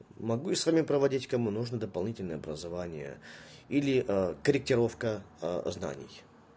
могу и с вами проводить кому нужно дополнительное образование или а корректировка а знаний